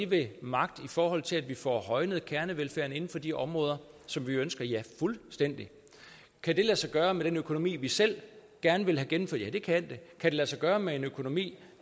ved magt i forhold til at vi får højnet kernevelfærden inden for de områder som vi ønsker ja fuldstændig kan det lade sig gøre med den økonomi vi selv gerne vil have gennemført ja det kan det kan det lade sig gøre med en økonomi